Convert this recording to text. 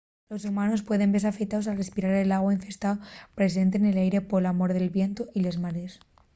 los humanos pueden vese afectaos al respirar l'agua infestao presente nel aire pola mor del vientu y les marees